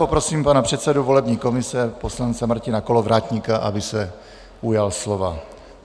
Poprosím pana předsedu volební komise poslance Martina Kolovratníka, aby se ujal slova.